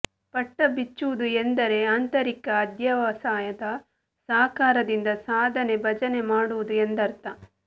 ಪಟಬಿಚ್ಚುವುದು ಎಂದರೆ ಆಂತರಿಕ ಅಧ್ಯವಸಾಯದ ಸಹಕಾರದಿಂದ ಸಾಧನೆ ಭಜನೆ ಮಾಡುವುದು ಎಂದರ್ಥ